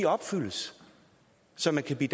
opfyldes så man kan blive